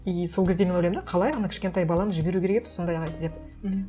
и сол кезде мен ойлаймын да қалай ана кішкентай баланы жіберу керек еді сондайға деп мхм